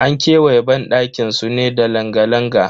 An kewaye banɗakin su ne da langa-langa.